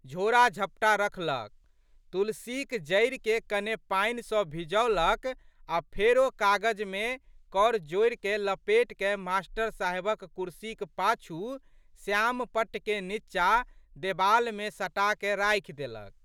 झोड़ाझपटा रखलक। तुलसीक जड़िके कने पानिसँ भिजौलक आ' फेरो कागजमे कर जड़िके लपेटिकए मास्टर साहेबक कुर्सीक पाछू श्यामपट्ट के नींचा देबालमे सटाकए राखि देलक।